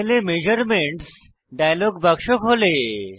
প্যানেলে measurements dialog বাক্স খোলে